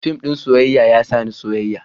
Fim ɗin soyayya ya sa ni soyayya.